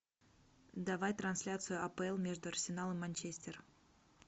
давай трансляцию апл между арсенал и манчестер